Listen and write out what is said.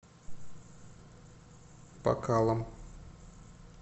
бакалом